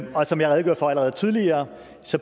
som jeg redegjorde for allerede tidligere